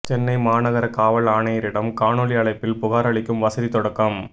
சென்னை மாநகர காவல் ஆணையரிடம் காணொலி அழைப்பில் புகார் அளிக்கும் வசதி தொடக்கம்